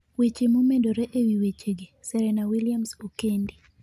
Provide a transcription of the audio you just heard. Weche momedore ewi wechegi, Serena Williams okendi